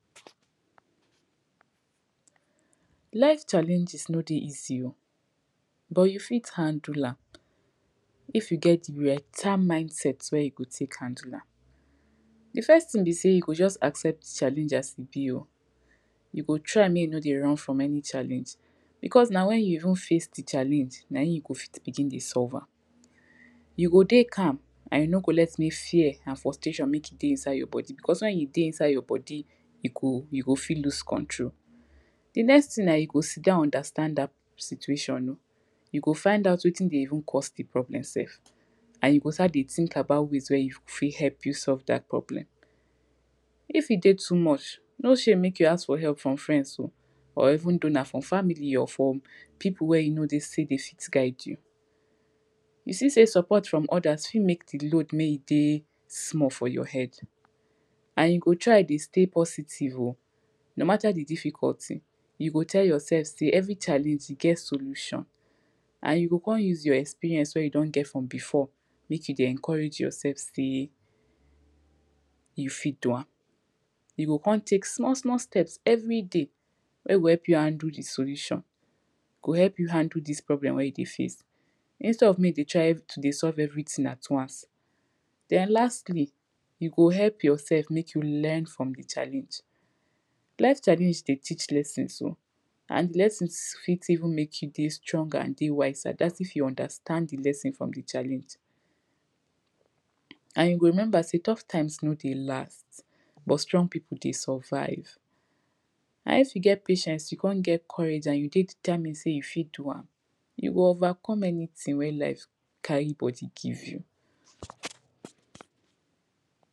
life challenges no dey easy oh but you fit handle am if you get beta mindset wey you go take handle am dey first tin be say you go accept challenges as e be but try make you no dey run from any challenge because na when you even face dey challenge nahim you go fit begin dey solve am You go dey calm you no go let any fear and frustration make e dey inside your body because when e dey inside your body e go you go fit lose control the next tin na you go sidon understand that situation o you go find out wetin dey even cause the problem sef an you go start dey tink about ways wey fit helo you solve that problem if e take too much no shame make you ask for help from frends or even though from family or from people wey you know dem sey dem fit guide you you see sey support from others fit make the load dey small for your head an you go try dey stay positive o no matter dey difficulty you go tell your self say, every challenge e get solution an yiu come use your experince wey you don get from before make you dey encourage yourself sey e fit do am you go come take small small steps every day wey go help you handle the solution go help you handle this problem wey you dey face instead of make you dey try solve everything at once then lastly you go help yourself make you learn freom the challenge life challenge dey teach lessons o And dey lessons fit even make you dey stronger and dey wiser that if you understand the lesson from the challenge. And you go remember sey tough times no dey last but strong people dey survive and if you get patience you come get courage and you dey determined say you fit do am, you go overcome anytin wey life carry body give you